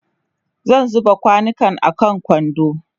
zan zuba kwanukan a kwando